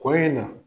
Kɔ in na